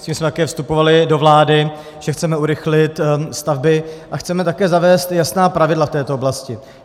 S tím jsme také vstupovali do vlády, že chceme urychlit stavby a chceme také zavést jasná pravidla v této oblasti.